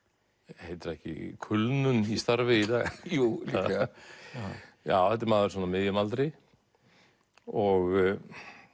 heitir það ekki kulnun í starfi í dag jú líklega þetta er maður svona á miðjum aldri og